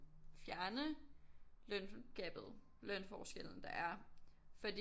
Fjerne løngabet lønforskellen der er fordi